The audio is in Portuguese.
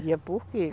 Vendia por quilo.